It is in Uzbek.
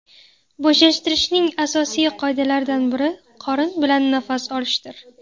Bo‘shashtirishning asosiy qoidalaridan biri qorin bilan nafas olishdir.